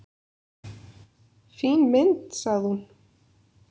"""Fín mynd, sagði hún."""